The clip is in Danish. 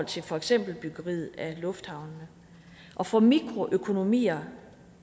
til for eksempel byggeriet af lufthavnene og for mikroøkonomier